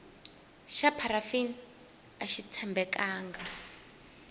xa pharafini axi tshembekanga